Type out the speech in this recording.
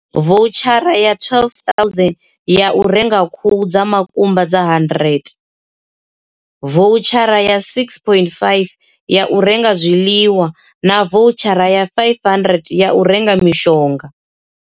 Voutshara ya R12 000 ya u renga khuhu dza makumba dza 100, voutshara ya R6 500 ya u renga zwiḽiwa na voutshara ya R500 ya u renga mishonga.